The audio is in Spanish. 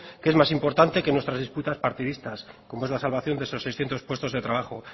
que es más importante que nuestras disputas partidistas como es la salvación de esos seiscientos puestos de trabajo